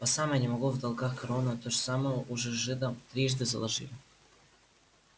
по самое не могу в долгах корону эту самую уже жидам трижды заложили